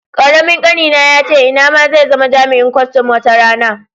Karamin ƙanina yace ina ma zai zama jami'in kustum wata rana.